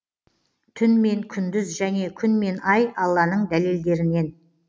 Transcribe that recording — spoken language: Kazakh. түн мен күндіз және күн мен ай алланың дәлелдерінен